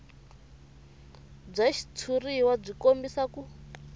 bya xitshuriwa byi kombisa ku